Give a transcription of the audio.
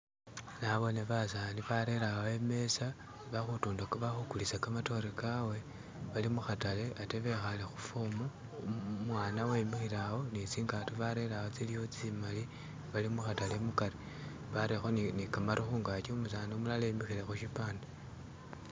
Nabone basani barere awo i'meza bali khukulisa kamatore kawe balimukhatale ate bekhale khufomu, umwana wemikhile awo ne tsingato barere awo tsimali bali mukhatale mukari barerekho ne kamaru khungaki umusani umulala wemikhile khushipande